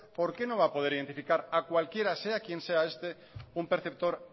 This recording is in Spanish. por qué no va a poder identificar a cualquiera sea quien sea este un perceptor